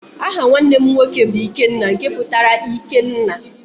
Aha nwanne m nwoke bụ Ikenna nke pụtara ike nna.